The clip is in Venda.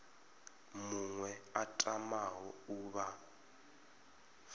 muṅwe a tamaho u vha